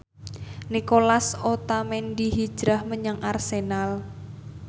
Nicolas Otamendi hijrah menyang Arsenal